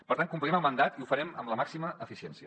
per tant complirem el mandat i ho farem amb la màxima eficiència